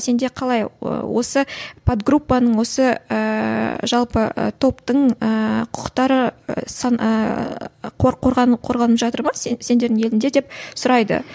сенде қалай осы подгруппаның осы ыыы жалпы ы топтың ыыы құқықтары ыыы қорған қорғанып жатыр ма сендердің еліңде деп сұрайды